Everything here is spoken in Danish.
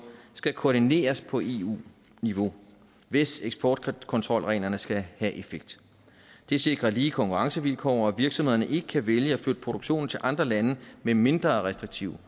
skal koordineres på eu niveau hvis eksportkontrolreglerne skal have effekt det sikrer lige konkurrencevilkår og at virksomhederne ikke kan vælge at flytte produktionen til andre lande med mindre restriktive